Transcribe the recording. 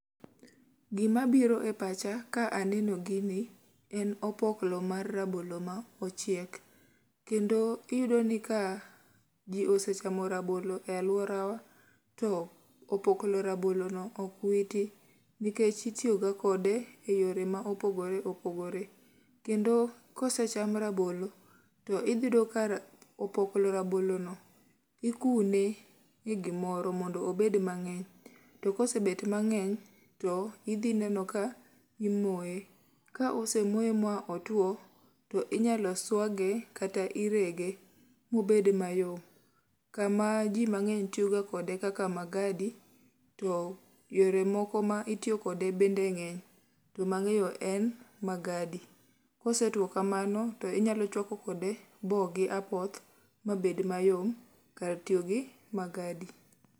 Gima biro e pacha ka aneno gini, en opoklo mar rabolo ma ochiek. Kendo iyudo ni ka ji osechamo rabolo e alworawa to opoklo rabolo no ok witi. Nikech itiyo ga kode e yore ma opogore opogore. Kendo ka osecham rabolo, to iyudo ka opoklo rabolo no ikune e gimoro mondo obed mang'eny. To kosebet mang'eny to idhi neno ka imoye. Ka osemoye ba otwo, to inyalo swage, kata irege mobed mayom. Kama ji mang'eny tiyo ga kode kaka magadi to yore moko ma itiyo kode bende ng'eny. To mang'eyo en magadi. Kosetwo kamano to inyalo chwako kode bo gi apoth ma bed mayom kar tiyo gi magadi.